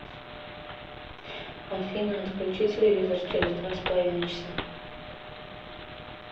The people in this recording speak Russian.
афина отключи телевизор через два с половиной часа